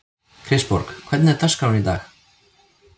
Kristborg, hvernig er dagskráin í dag?